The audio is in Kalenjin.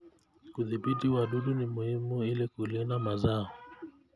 Kudhibiti wadudu ni muhimu ili kulinda mazao.